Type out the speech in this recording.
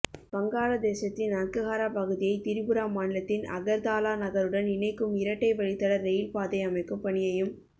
வங்காளதேசத்தின் அக்குஹாரா பகுதியை திரிபுரா மாநிலத்தின் அகர்தாலா நகருடன் இணைக்கும் இரட்டை வழித்தட ரெயில் பாதை அமைக்கும் பணியையும்